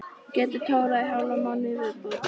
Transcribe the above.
Get tórað í hálfan mánuð í viðbót.